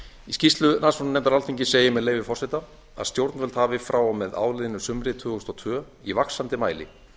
í skýrslu rannsóknarnefndar alþingis segir með leyfi forseta að stjórnvöld hafi frá og með áliðnu sumri tvö þúsund og tvö í vaxandi mæli